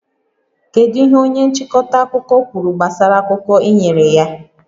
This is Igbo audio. Kedu ihe onye nchịkọta akụkọ kwuru gbasara akụkọ ị nyere ya?